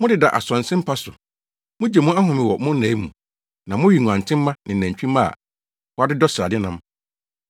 Modeda asonse mpa so mugye mo ahome wɔ mo nnae mu, na mowe nguantenmma ne nantwimma a wɔadodɔ srade nam.